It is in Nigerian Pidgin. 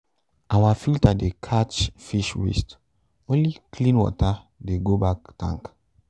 our filter dey catch fish waste only clean water dey go back tank